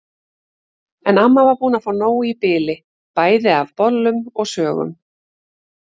En amma var búin að fá nóg í bili bæði af bollum og sögum.